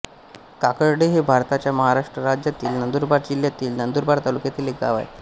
काकर्डे हे भारताच्या महाराष्ट्र राज्यातील नंदुरबार जिल्ह्यातील नंदुरबार तालुक्यातील एक गाव आहे